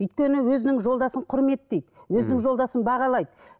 өйткені өзінің жолдасын құрметтейді ммм өзінің жолдасын бағалайды